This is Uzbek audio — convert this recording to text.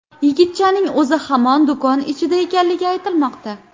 Yigitchaning o‘zi hamon do‘kon ichida ekanligi aytilmoqda.